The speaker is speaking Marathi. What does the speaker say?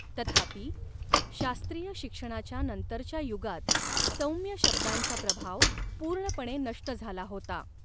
तथापि, शास्त्रीय शिक्षणाच्या नंतरच्या युगात सौम्य शब्दांचा प्रभाव पूर्णपणे नष्ट झाला होता.